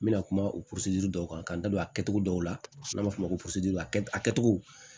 N bɛna kuma o piri dɔw kan k'an da don a kɛcogo dɔw la n'an b'a fɔ o ma ko